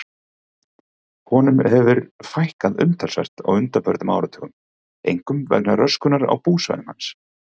Honum hefur fækkað umtalsvert á undanförnum áratugum, einkum vegna röskunar á búsvæðum hans.